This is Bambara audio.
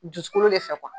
Dusukolo de fɛ